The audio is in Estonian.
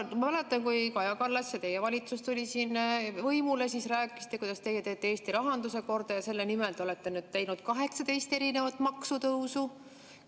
Ma mäletan, et kui Kaja Kallas ja teie valitsus tulid võimule, siis rääkisite, kuidas teie teete Eesti rahanduse korda, ja selle nimel te olete teinud 18 maksutõusu.